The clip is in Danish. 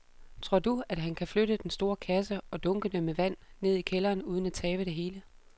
Tror du, at han kan flytte den store kasse og dunkene med vand ned i kælderen uden at tabe det hele?